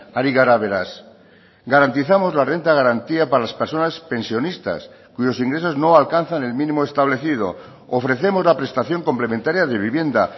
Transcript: ari gara beraz garantizamos la renta de garantía para las personas pensionistas cuyos ingresos no alcanzan el mínimo establecido ofrecemos la prestación complementaria de vivienda